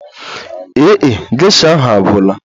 Ee e, geisha ahụ agwụla